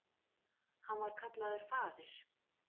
Hann var kallaður faðir